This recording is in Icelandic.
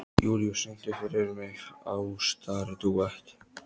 Júlíus, syngdu fyrir mig „Ástardúett“.